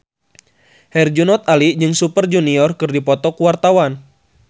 Herjunot Ali jeung Super Junior keur dipoto ku wartawan